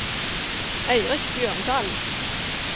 Eirik Bjørndal